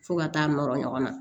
Fo ka taa nɔrɔ ɲɔgɔn na